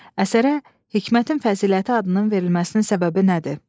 Əsərə Hikmətin Fəziləti adının verilməsinin səbəbi nədir?